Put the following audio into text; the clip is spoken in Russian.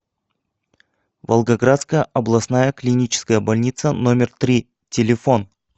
волгоградская областная клиническая больница номер три телефон